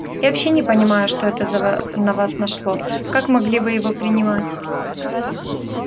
я вообще не понимаю что это на вас нашло как могли вы его принимать